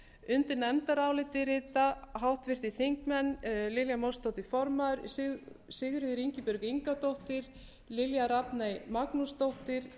undir nefndarálitið rita háttvirtir þingmenn lilja mósesdóttir form sigríður ingibjörg ingadóttir lilja rafney magnúsdóttir